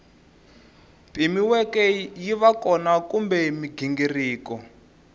pimiweke yiva kona kumbe mighingiriko